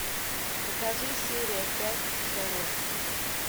покажи серия пять шерлок